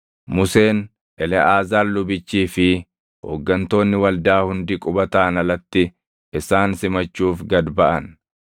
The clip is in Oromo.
Museen, Eleʼaazaar lubichii fi hooggantoonni waldaa hundi qubataan alatti isaan simachuuf gad baʼan.